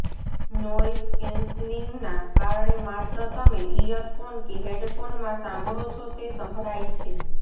noise કેન્સલિંગના કારણે માત્ર તમે ઇયરફોન કે હેડફોનમાં સાંભળો છો તે સંભળાય છે